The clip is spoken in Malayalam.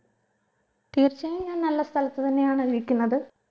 തീർച്ചയായും ഞാൻ നല്ല സ്ഥലത്ത് തന്നെയാണ് ഇരിക്കുന്നത്